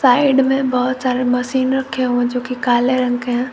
Side में बहोत सारे मशीन रखे हो जो कि काले रंग के।